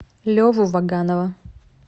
леву ваганова